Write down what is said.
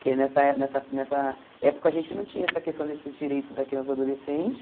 Porque nessa nessa nessa época a gente não tinha essa questão desses direitos da criança e do adolescente.